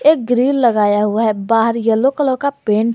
Grill लगाया हुआ है बाहर यलो कलर का पेंट है।